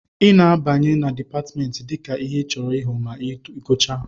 ị na-abanye na Dipatmentị dịka ihe ịchọrọ ịghọ ma ị gụchaa